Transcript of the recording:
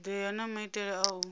thodea na maitele a u